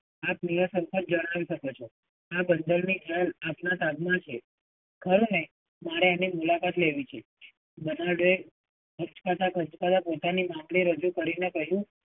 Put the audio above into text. આપ નિઃસંકોચ જણાવી શકો છો. આ બંદરની આપના હાથમાં છે, ખરું ને? મારે એની મુલાકાત લેવી છે, બરનાડો એ આચકતા આચકતા પોતાની વાત ને રજૂ કરીને કહ્યું,